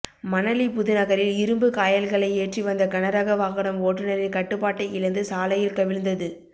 மணலி புதுநகரில் இரும்பு காயல்களை ஏற்றி வந்த கனரக வாகனம் ஓட்டுனரின் கட்டுபாட்டை இழந்து சாலையில் கவிழ்ந்தது